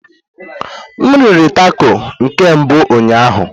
M riri tako na nke mbụ ụnyaahụ.